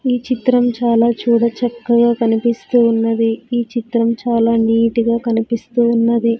ఈ చిత్రం చాలా చూడ చక్కగా కనిపిస్తూ ఉన్నది ఈ చిత్రం చాలా నీట్ గా కనిపిస్తూ ఉన్నది.